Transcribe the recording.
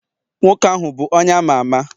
nwoke ahu bu onye ama ama?